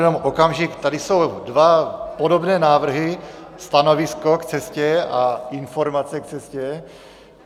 Jenom okamžik, tady jsou dva podobné návrhy - stanovisko k cestě a informace k cestě.